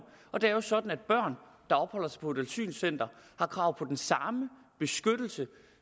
det er jo sådan at børn der opholder sig på et asylcenter har krav på den samme beskyttelse